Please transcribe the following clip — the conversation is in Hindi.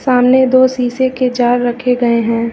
सामने दो शीशे के जार रखे गए हैं।